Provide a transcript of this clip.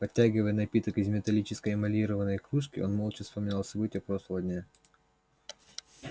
потягивая напиток из металлической эмалированной кружки он молча вспоминал события прошлого дня